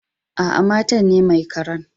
Aa, matan ne mai karan.